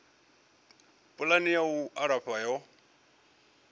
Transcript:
pulani ya u alafha yo